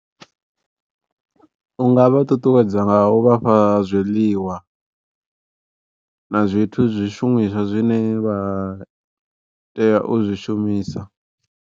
Unga vha ṱuṱuwedza nga u vhafha zwiḽiwa na zwithu zwishumiswa zwine vha tea u zwi shumisa.